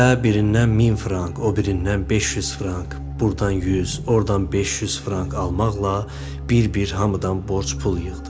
Və birindən 1000 frank, o birindən 500 frank, burdan 100, ordan 500 frank almaqla bir-bir hamıdan borc pul yığdı.